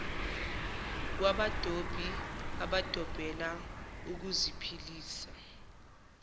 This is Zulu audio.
kwabadobi abadobela ukuziphilisa